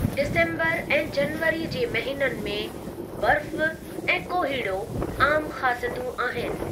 December ऐं जनवरीअ जे महीननि में बर्फ़ु ऐं कोहीड़ो आमु ख़ासियतूं आहिनि।